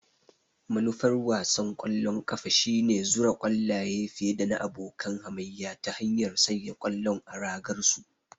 Manufar wasan ƙwallon kafa shine zura ƙwallaye fiye da abokan hamayya ta hanyar sanya ƙwallon a ragar su.